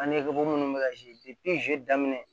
An ɲɛ munnu bɛ ka daminɛ